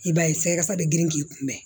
I b'a ye sɛgɛ kasa bɛ girin k'i kunbɛn